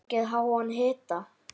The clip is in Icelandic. Fengið háan hita.